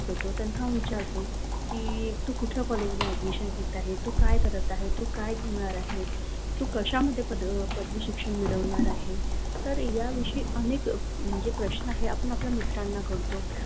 Phone करतो त्यांना विचारतो की, कुठल्या कॉलेजला ऍडमिशन घेत आहे, तू काय करत आहे, तू काय घेणार आहे, तू कशामध्ये पदवी शिक्षण मिळवणार आहे, तर याविषयी अनेक म्हणजे प्रश्न आपण आपल्या मित्रांनो करतो.